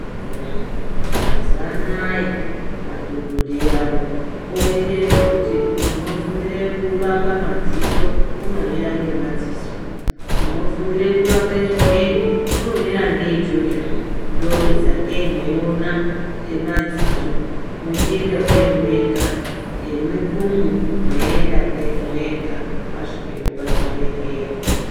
Mazuva anaya madhogodheya awo oite zvekuti unofundire kurapa madziso unomira ngemadziso, unofundire kurape zvimweni unomira ngeichocho. Ndosakei mweiwona emadziso mwuchienda kwenyu mega, emudumbu mweiyenda kwenyu mwega, mwasvikepo pachibhedhleya.